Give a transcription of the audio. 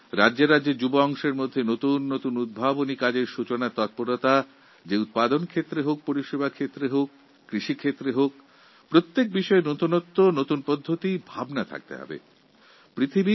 আমাদের রাজ্যগুলি কি নিজেদের নতুন স্টার্ট ইউপি উৎপাদন ও কৃষি ক্ষেত্রে বা পরিষেবা প্রদানের ক্ষেত্রে নতুন উদ্ভাবনের মাধ্যমে দেশের যুবাদের জন্য নব দিগন্ত খুলে দিতে পারে না প্রতিটি ব্যাপারে নতুন চিন্তাভাবনা নতুন কৌশল থাকা বাঞ্ছনীয়